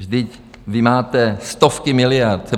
Vždyť vy máte stovky miliard.